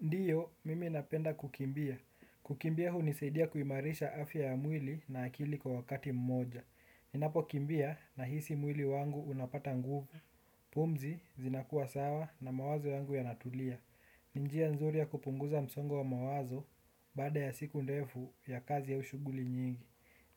Ndiyo, mimi napenda kukimbia. Kukimbia hunisaidia kuimarisha afya ya mwili na akili kwa wakati mmoja. Ninapokimbia nahisi mwili wangu unapata nguvu. Pumzi zinakua sawa na mawazo yangu yanatulia. Ni njia nzuri ya kupunguza msongo wa mawazo baada ya siku ndefu ya kazi au shughuli nyingi.